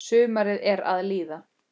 Sumarið er að líða.